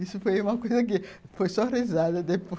Isso foi uma coisa que foi só risada depois.